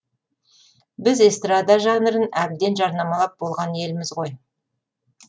біз эстрада жанрын әбден жарнамалап болған елміз ғой